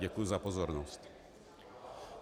Děkuji za pozornost.